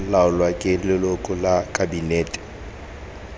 laolwang ke leloko la kabinete